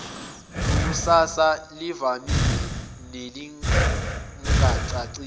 lekusasa elivamile nelingacacile